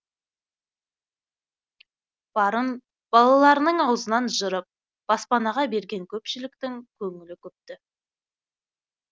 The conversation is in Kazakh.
барын балаларының аузынан жырып баспанаға берген көпшіліктің көңілі күпті